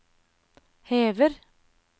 hever